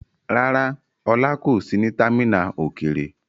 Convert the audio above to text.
Rárá, Ola kò sí ní támínà òkèèrè.